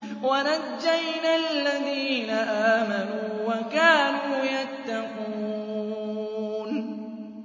وَنَجَّيْنَا الَّذِينَ آمَنُوا وَكَانُوا يَتَّقُونَ